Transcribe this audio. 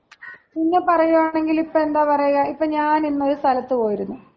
പിന്നെ പറയുകയാണെങ്കില് ഇപ്പൊ എന്താ പറയാ ഇപ്പോ ഞാനിന്നൊരു സ്ഥലത്ത് പോയിരുന്നു.